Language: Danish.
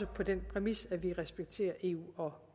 på den præmis at vi respekterer eu og